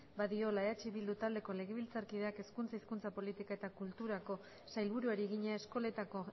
badiola eh bildu taldeko legebiltzarkideak hezkuntza hizkuntza politika eta kulturako sailburuari egina eskoletako